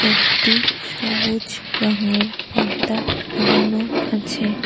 একটি সবুজ রঙের পর্দা লাগানো আছে।